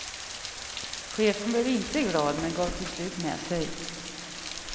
Chefen blev inte glad men gav till slut med sig.